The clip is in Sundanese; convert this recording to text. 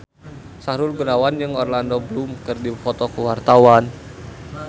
Sahrul Gunawan jeung Orlando Bloom keur dipoto ku wartawan